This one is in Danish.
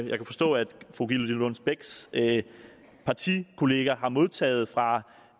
jeg kan forstå at fru gitte lillelund bechs partikollega har modtaget fra